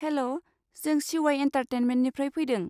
Hello, जों सि उवाइ एन्टारटेनमेन्टनिफ्राय फैदों।